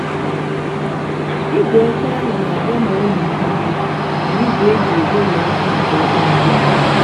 igwe ọkụ ahụ na-agba ma olulu mmiri na igwe e ji egweri akpu nke ọma ugbu a.